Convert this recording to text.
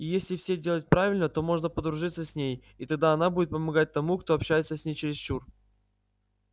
и если все делать правильно то можно подружи дурьться с ней и тогда она будет помогать тому кто общается с ней через чур